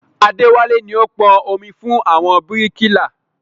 Adéwálé ni ó pọn omi fún àwọn bíríkìlà